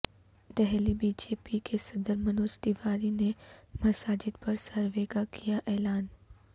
Delhi B J P کے صدر منوج تیواری نے مساجد پر سروے کا کیااعلان